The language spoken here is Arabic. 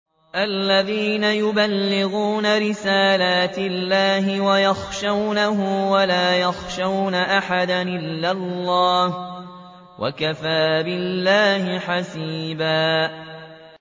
الَّذِينَ يُبَلِّغُونَ رِسَالَاتِ اللَّهِ وَيَخْشَوْنَهُ وَلَا يَخْشَوْنَ أَحَدًا إِلَّا اللَّهَ ۗ وَكَفَىٰ بِاللَّهِ حَسِيبًا